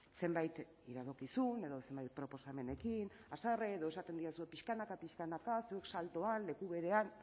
zenbait iradokizun edo zenbait proposamenekin haserre edo esaten didazu pixkanaka pixkanaka zuek saltoa leku berean